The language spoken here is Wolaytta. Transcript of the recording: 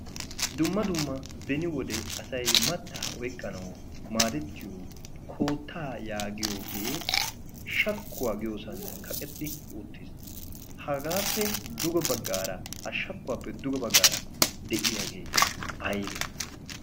Dumma dumma beni wode asai mattaa oiqqanau maadettiyo koottaa yaagiyoogee shakkuwaa giyoosan kaqexxi uuttiis hagaappe duge baggaara ha shakkuwaappe duge baggaara de'iyaagee aibe